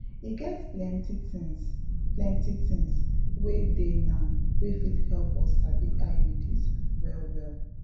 e get plenty things plenty things wey dey now wey fit help us sabi iuds well well